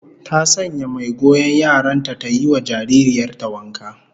Ta sanya mai goyon yaran ta ta yi wa jaririyar ta wanka